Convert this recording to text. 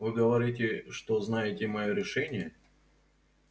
вы говорите что знаете моё решение